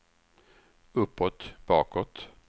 uppåt bakåt